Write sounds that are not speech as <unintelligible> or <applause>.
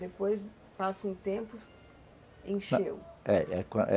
Depois passa um tempo, encheu <unintelligible>